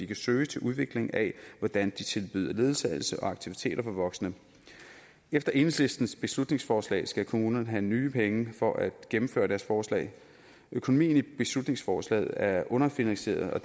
kan søge til udvikling af hvordan de tilbyder ledsagelse og aktiviteter for voksne efter enhedslistens beslutningsforslag skal kommunerne have nye penge for at gennemføre deres forslag økonomien i beslutningsforslaget er underfinansieret og